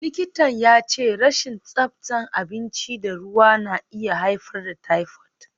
Likitan ya ce rashin tsabta abinci da ruwa na iya haifar da typhoid.